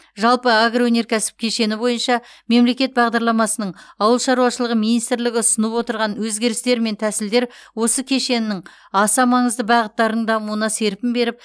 жалпы агроөнеркәсіп кешені бойынша мемлекет бағдарламасының ауыл шаруашылығы министрлігі ұсынып отырған өзгерістер мен тәсілдер осы кешеннің аса маңызды бағыттарының дамуына серпін беріп